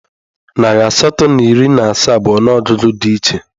Narị asatọ na iri na asaa bụ ọnụọgụgụ dị iche.